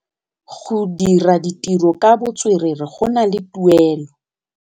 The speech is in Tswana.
Go dira ditirô ka botswerere go na le tuelô.